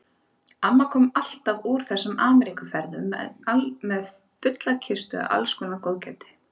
Amma kom alltaf úr þessum Ameríkuferðum með fulla kistu af alls kyns góðgæti.